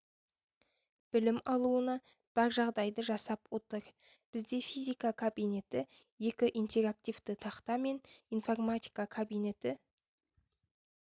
білім алуына бар жағдайды жасап отыр бізде физика кабинеті екі интерактивті тақта мен информатика кабинеті